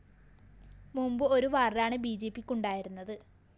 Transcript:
മുമ്പ് ഒരു വാര്‍ഡാണ് ബിജെപിക്കുണ്ടായിരുന്നത്